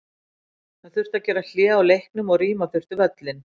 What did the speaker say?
Það þurfti að gera hlé á leiknum og rýma þurfti völlinn.